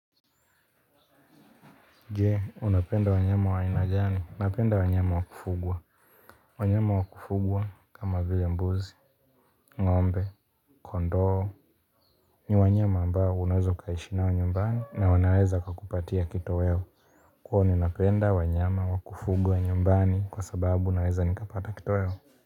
Je, unapenda wanyama wa aina gani, napenda wanyama wa kufugwa wanyama wa kufugwa kama vile mbuzi, ng'ombe, kondoo ni wanyama ambao unaweza ukaishi nao nyumbani na wanaweza kukupatia kitoweo kwa hivo ninapenda wanyama wa kufugwa nyumbani kwa sababu naweza nikapata kitoweo.